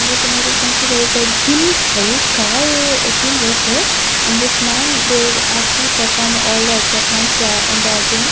In this image we can see there is a gym free called a gym worker and this man where actually perform all the equipment in the gym.